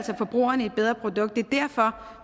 forbrugerne et bedre produkt det er derfor